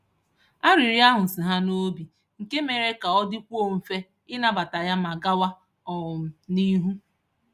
Arịrịọ ahụ si ha n'obi, nke mere ka ọ dịkwuo mfe ịnabata ya ma gawa um n'ihu.